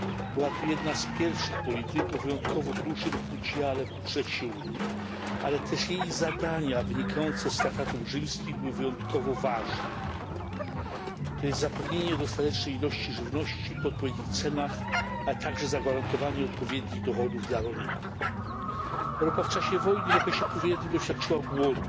Była to jedna z pierwszych polityk o wyjątkowo dużym udziale w budżecie Unii, ale też jej zadania wynikające z Traktatów Rzymskich były wyjątkowo ważne zapewnienie dostatecznej ilości żywności po odpowiednich cenach, a także zagwarantowanie odpowiednich dochodów dla rolników. Europa w czasie wojny i w okresie powojennym doświadczyła głodu,